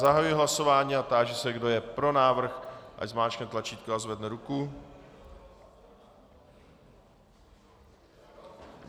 Zahajuji hlasování a táži se, kdo je pro návrh, ať zmáčkne tlačítko a zvedne ruku.